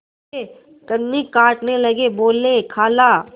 वे कन्नी काटने लगे बोलेखाला